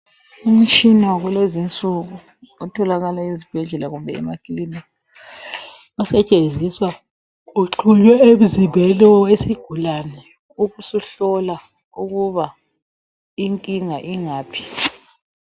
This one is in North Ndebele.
Umtshina wakulezinsuku otholakala esibhedlela kumbe emakilinika osetshenziswa uxhunywe emzimbeni wesigulane ubusuhlola ukuba uhlupho lungaphi.